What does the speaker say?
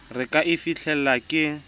re ka e fihlelang ke